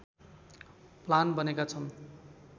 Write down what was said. plan बनेका छन्